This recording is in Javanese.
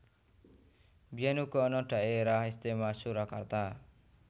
Biyèn uga ana Dhaérah Istiméwa Surakarta